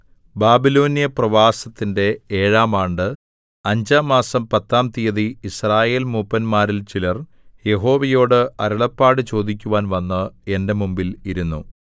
ബാബിലോന്യ പ്രവാസത്തിന്റെ ഏഴാം ആണ്ട് അഞ്ചാം മാസം പത്താം തീയതി യിസ്രായേൽമൂപ്പന്മാരിൽ ചിലർ യഹോവയോടു അരുളപ്പാട് ചോദിക്കുവാൻ വന്ന് എന്റെ മുമ്പിൽ ഇരുന്നു